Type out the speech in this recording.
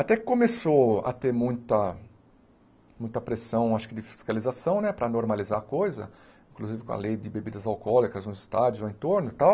Até que começou a ter muita, muita pressão, acho que de fiscalização, né, para normalizar a coisa, inclusive com a lei de bebidas alcoólicas nos estádios, no entorno e tal,